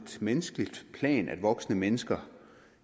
menneskeligt plan altså at voksne mennesker